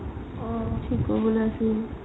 থিক কৰিবলৈ আছিল